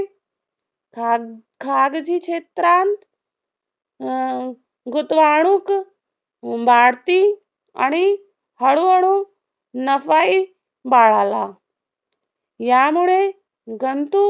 खाग खागजी क्षेत्रांत अं गुतवाणूक वाढती आणि हळूहळू नफाही वाढाला. यामुळे गंतु